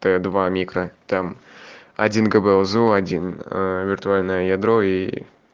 так два микра там один гбаил зо один э виртуальное ядро и